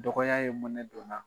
Dɔgɔya ye mɔnɛ don n na